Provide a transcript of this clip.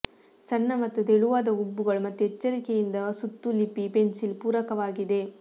ಸಣ್ಣ ಮತ್ತು ತೆಳುವಾದ ಹುಬ್ಬುಗಳು ಮತ್ತು ಎಚ್ಚರಿಕೆಯಿಂದ ಸುತ್ತು ಲಿಪ್ ಪೆನ್ಸಿಲ್ ಪೂರಕವಾಗಿದೆ